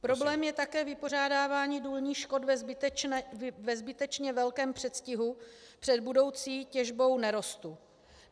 Problém je také vypořádávání důlních škod ve zbytečně velkém předstihu před budoucí těžbou nerostů.